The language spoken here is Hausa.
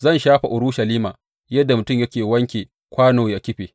Zan shafe Urushalima yadda mutum yake wanke kwano yă kife.